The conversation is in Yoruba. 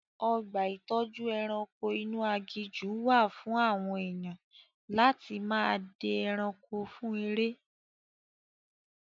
Ọgbà ìtọ́jú ẹranko inú aginjù wà fún àwọn èèyan láti máa dẹ ẹranko fún eré.